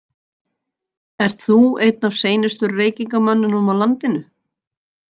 Ert þú einn af seinustu reykingamönnunum á landinu?